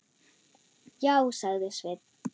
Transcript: Já, sagði Sveinn.